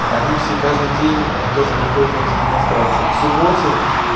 они все каждый день тоже выходят на эти демонстрации к субботе